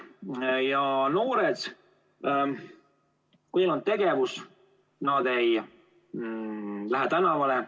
Kui noortel on tegevust, siis nad ei lähe tänavale.